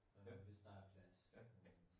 Hvis der er plads